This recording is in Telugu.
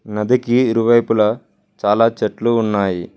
నదికి ఇరువైపులా చాలా చెట్లు ఉన్నాయి.